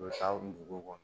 U bɛ taa dugu kɔnɔ